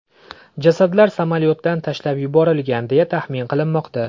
Jasadlar samolyotdan tashlab yuborilgan, deya taxmin qilinmoqda.